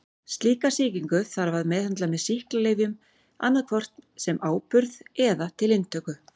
Slíka sýkingu þarf að meðhöndla með sýklalyfjum annað hvort sem áburð eða til inntöku.